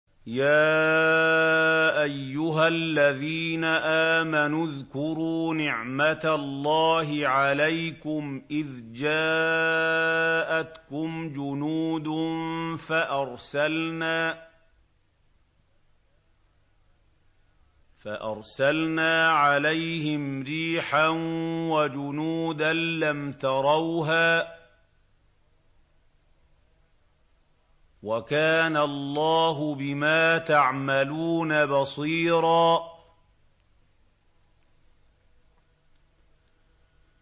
يَا أَيُّهَا الَّذِينَ آمَنُوا اذْكُرُوا نِعْمَةَ اللَّهِ عَلَيْكُمْ إِذْ جَاءَتْكُمْ جُنُودٌ فَأَرْسَلْنَا عَلَيْهِمْ رِيحًا وَجُنُودًا لَّمْ تَرَوْهَا ۚ وَكَانَ اللَّهُ بِمَا تَعْمَلُونَ بَصِيرًا